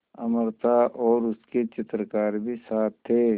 अमृता और उसके चित्रकार भी साथ थे